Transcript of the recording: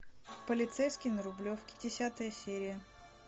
полицейский на рублевке десятая серия